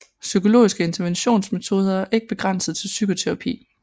Psykologiske interventionsmetoder er ikke begrænset til psykoterapi